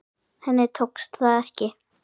Henni tókst það ekki.